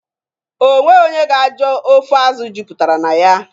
O nweghị onye ga-ajụ ofe azụ jupụtara na ya.